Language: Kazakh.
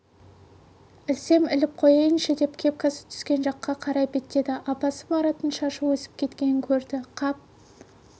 ілсем іліп қояйыншы деп кепкасы түскен жаққа қарай беттеді апасы мараттың шашы өсіп кеткенін көрді қап